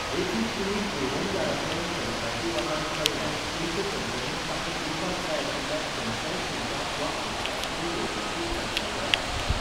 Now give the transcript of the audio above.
देखीक, तुमी पुरवणदाराकडेन कंत्राटी वादांत पडल्यार, तुमचे कंपनीन तांकां दिवपाक जाय आशिल्ल्या खंयच्याय शुल्काक वा खर्चाक तुमी वैयक्तीक जापसालदार आसचे नात.